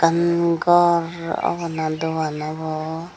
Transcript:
umm ghor obo naa dogan obo.